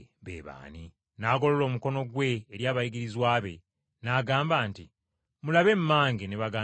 N’agolola omukono gwe eri abayigirizwa be n’agamba nti, “Mulabe mmange ne baganda bange!